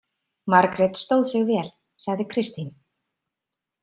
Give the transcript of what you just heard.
Margrét stóð sig vel, sagði Kristín.